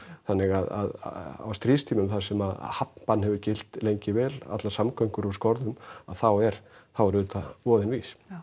þannig að á stríðstímum þar sem hafnbann hefur gilt lengi vel allar samgöngur úr skorðum að þá er þá er auðvitað voðinn vís já